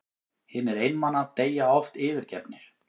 Hinir einmana deyja oft yfirgefnir.